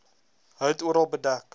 hout oral bedek